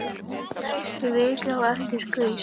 Næstu viku á eftir gaus